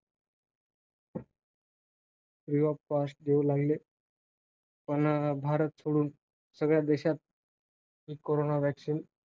Free of cost देऊ लागली. भारत सोडून सगळ्या देशात कोरोना vaccine